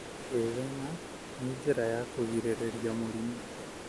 Gwĩthema nĩ njĩra ya kũgirĩrĩria mĩrimũ.